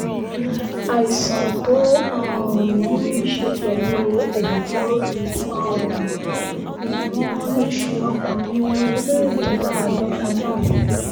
àìsàn tó um ní í ṣe pẹ̀lú ẹ̀dọ̀ fòòró ni um wọ́n lọ ṣe ọkùnrin ẹni ọdún mẹ́rìndínláàádọ́ta náà